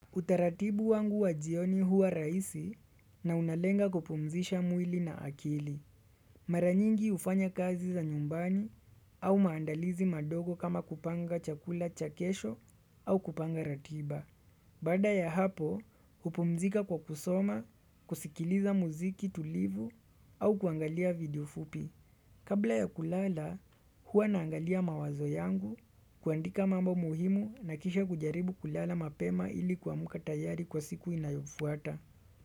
Utaratibu wangu wa jioni huwa rahisi na unalenga kupumzisha mwili na akili. Maranyingi hufanya kazi za nyumbani au maandalizi madogo kama kupanga chakula cha kesho au kupanga ratiba. Baada ya hapo, hupumzika kwa kusoma, kusikiliza muziki tulivu au kuangalia video fupi. Kabla ya kulala huwa naangalia mawazo yangu kuandika mambo muhimu na kisha kujaribu kulala mapema ili kuamka tayari kwa siku inayofuata.